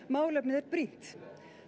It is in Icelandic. málefnið er brýnt